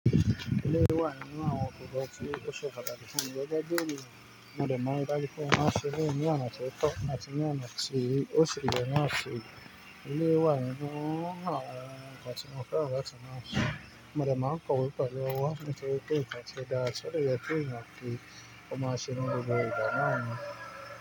Iléyi wà ninu awon nkankan ti o se pataki gege bi eniyan mode ma ri daju pe mo ma se lona ti oto, àti ní àná tìí, ó ṣelé nu afin. Iléyi wà ninu awon nkàn ti mọ̀fẹ́ àti máa ṣé. Mọ̀de ma n kọ̀wé pelu owo, nitorpe nkan ti o da tio de je pe eeyan ma nse ni gbogbo igba naa ni.